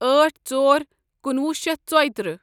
أٹھ ژۄر کُنوُہ شیتھ ژۄیہ تٕرہ